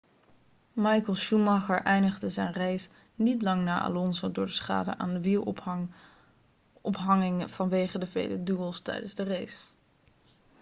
michael schumacher eindigde zijn race niet lang na alonso door de schade aan de wielophanging vanwege de vele duels tijdens de race